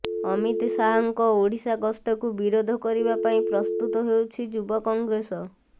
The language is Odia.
ଅମିତ ଶାହଙ୍କ ଓଡ଼ିଶା ଗସ୍ତକୁ ବିରୋଧ କରିବା ପାଇଁ ପ୍ରସ୍ତୁତ ହେଉଛି ଯୁବ କଂଗ୍ରେସ